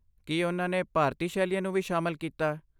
ਕੀ ਉਨ੍ਹਾਂ ਨੇ ਭਾਰਤੀ ਸ਼ੈਲੀਆਂ ਨੂੰ ਵੀ ਸ਼ਾਮਲ ਕੀਤਾ?